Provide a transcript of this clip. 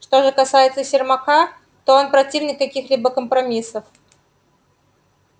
что же касается сермака то он противник каких-либо компромиссов